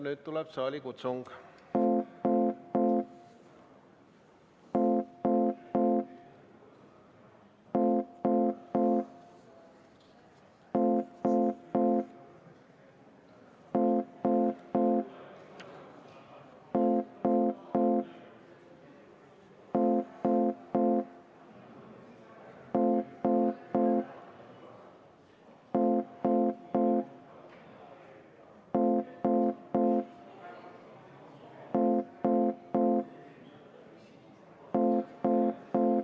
Nüüd tuleb saalikutsung.